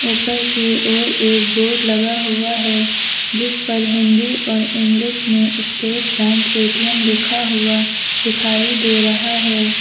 ऊपर की ओर एक बोर्ड लगा हुआ है जिस पर हिंदी और इंग्लिश में स्टेट बैंक ए_टी_एम लिखा हुआ दिखाई दे रहा है।